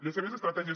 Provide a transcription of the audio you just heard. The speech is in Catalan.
les seves estratègies